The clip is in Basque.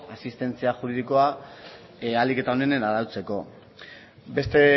asistentzia juridikoa ahalik eta onenen arautzeko beste